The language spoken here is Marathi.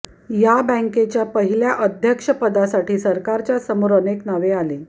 या बँकेच्या पहिल्या अध्यक्षपदासाठी सरकारच्या समोर अनेक नावे आली